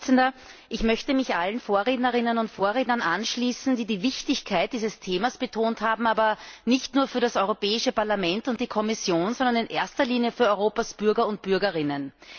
Herr Präsident! Ich möchte mich allen Vorrednerinnen und Vorrednern anschließen, die die Wichtigkeit dieses Themas betont haben, nicht nur für das Europäische Parlament und die Kommission, sondern in erster Linie für Europas Bürger und Bürgerinnen.